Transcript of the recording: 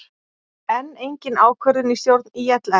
Enn engin ákvörðun í stjórn ÍLS